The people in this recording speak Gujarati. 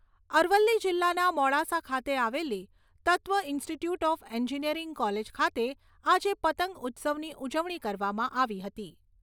અરવલ્લી જિલ્લાના મોડાસા ખાતે આવેલી Tatva institute of engineering college ખાતે આજે પંતગ ઉત્સવની ઉજવણી કરવામાં આવી હતી.